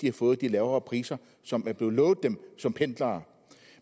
har fået de lavere priser som er blevet lovet dem som pendlere